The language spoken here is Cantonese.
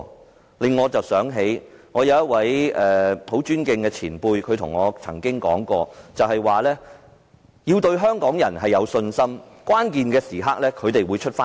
這令我想起一位我很尊敬的前輩對我說的一番話，他說要對香港人有信心，到了關鍵時刻，他們便會站起來。